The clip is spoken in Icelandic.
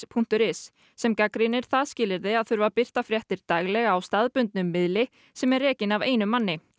punktur is sem gagnrýnir það skilyrði að þurfa að birta fréttir daglega á staðbundnum miðli sem er rekinn af einum manni